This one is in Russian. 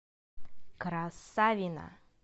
красавино